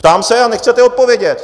Ptám se a nechcete odpovědět.